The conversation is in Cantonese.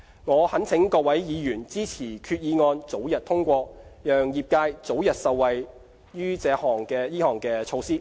我懇請各位議員支持決議案早日通過，讓業界早日受惠於這項措施。